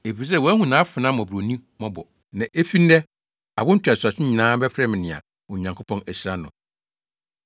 efisɛ wahu nʼafenaa mmɔborɔni mmɔbɔ, na efi nnɛ, awo ntoatoaso nyinaa bɛfrɛ me nea Onyankopɔn ahyira no.